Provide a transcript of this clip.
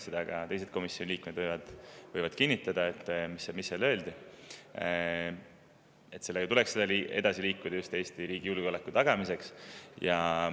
Seda, mis seal öeldi, võivad ka teised komisjoni liikmed kinnitada: sellega tuleks edasi liikuda just Eesti riigi julgeoleku tagamiseks.